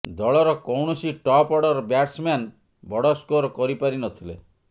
ଦଳର କୌଣସି top order batsman ବଡ଼ ସ୍କୋର କରିପାରିନଥିଲେ